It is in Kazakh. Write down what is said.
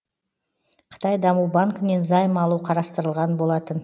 қытай даму банкінен займ алу қарастырылған болатын